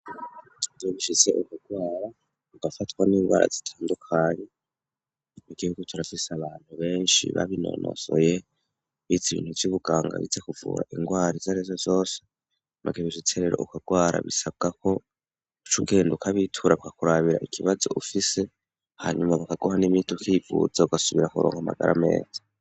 Iyo bishise ukarwara, ugafatwa n'ingwara zitandukanye, igihugu kirafise abantu benshi babinonosoye, bize ibintu vy'ubuganga, bize kuvura ingwara izo arizo zose, maze iyo bishitse rero ukarwara bisabwa ko, uca ugenda ukabitura bakakurabira ikibazo ufise, hanyuma bakaguha n'imiti ukivuza, ugasubira kuronka amagara ameza.